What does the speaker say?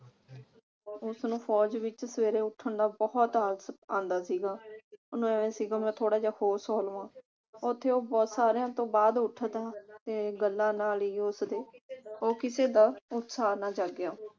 ਉਸਨੂੰ ਫੌਜ ਵਿਚ ਸਵੇਰੇ ਉਠਣ ਦਾ ਬਹੁਤ ਆਲਸ ਆਂਦਾ ਸੀਗਾ। ਉਸਨੂੰ ਇਹ ਸੀਗਾ ਕਿ ਮੈਂ ਥੋੜਾ ਜਾ ਹੋਰ ਸੌ ਲਵਾ। ਉਥੇ ਉਹ ਬਹੋਤ ਸਾਰਿਆਂ ਤੋਂ ਬਾਅਦ ਉੱਠਦਾ ਤੇ ਗੱਲਾਂ ਨਾਲ ਹੀ ਉਹ ਉਸਦੇ ਉਹ ਕਿਸੇ ਦਾ ਉਤਸ਼ਾਹ ਨਾ ਜਾਗਿਆ